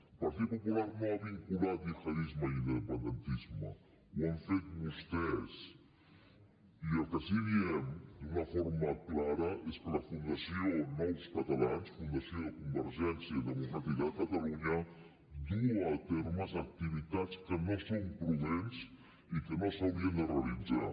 el partit popular no ha vinculat gihadisme i independentisme ho han fet vostès i el que sí que diem d’una forma clara és que la fundació nous catalans fundació de convergència democràtica de catalunya duu a terme activitats que no són prudents i que no s’haurien de realitzar